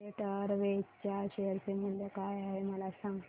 jet Airways च्या share चे मूल्य काय आहे मला सांगा